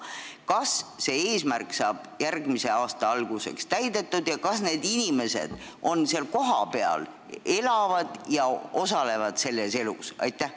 Kas see eesmärk saab järgmise aasta alguseks täidetud ja kas need inimesed elavad seal kohapeal ja osalevad sealses elus?